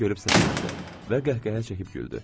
Məni görüb səsləndi və qəhqəhə çəkib güldü.